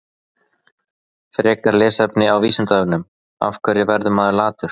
Frekara lesefni á Vísindavefnum: Af hverju verður maður latur?